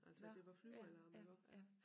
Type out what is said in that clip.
Altså at der var flyvealarm iggå